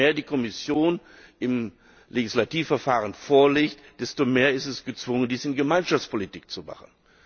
Je mehr die Kommission im Legislativverfahren vorlegt, desto mehr ist erzwungen, dies in Gemeinschaftspolitik zu machen.